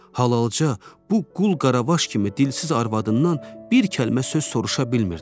Halalca bu qul-qaraqvaş kimi dilsiz arvadından bir kəlmə söz soruşa bilmirdi.